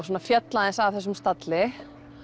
svona féll aðeins af þessum stalli